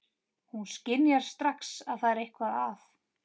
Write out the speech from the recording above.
Hún skynjar strax að það er eitthvað að.